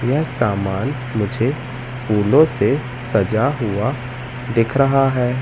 यह सामान मुझे फूलों से सजा हुआ दिख रहा है।